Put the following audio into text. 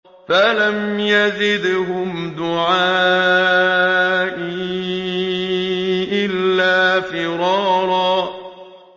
فَلَمْ يَزِدْهُمْ دُعَائِي إِلَّا فِرَارًا